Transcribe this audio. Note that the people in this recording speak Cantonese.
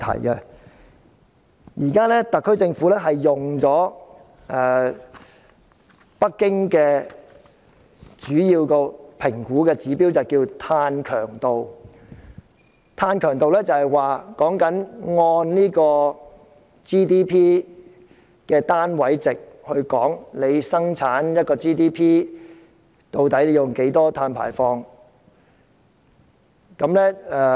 香港政府現在主要是使用北京的評估指標，名為"碳強度"，是指單位 GDP 的二氧化碳排放量，即每生產一個單位的 GDP， 究竟有多少碳排放。